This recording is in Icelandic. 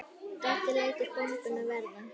Doddi lætur bombuna vaða.